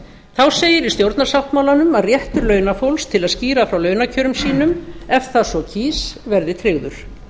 þá segir í stjórnarsáttmálanum að réttur launafólks til að skýra frá launakjörum sínum ef það svo kýs verði tryggður